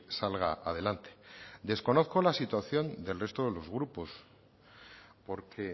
salga adelante desconozco la situación del resto de los grupos porque